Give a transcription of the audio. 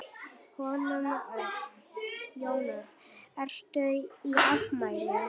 Jón Örn: Ertu í afmæli?